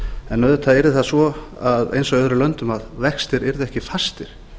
en auðvitað yrði það svo eins og í öðrum löndum að vextir yrðu ekki fastir